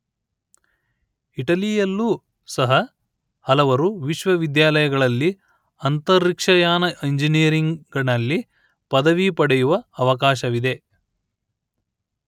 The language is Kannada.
ಇಟಲಿಯಲ್ಲೂ ಸಹ ಹಲವರು ವಿಶ್ವವಿದ್ಯಾಲಯಗಳಲ್ಲಿ ಅಂತರಿಕ್ಷಯಾನ ಇಂಜಿನಿಯರಿಂಗ್ ನಲ್ಲಿ ಪದವಿ ಪಡೆಯುವ ಅವಕಾಶವಿದೆ